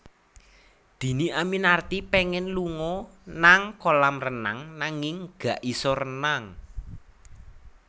Dhini Aminarti pengen lunga nang kolam renang nanging gak iso renang